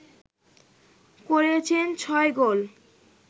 করেছেন ছয় গোল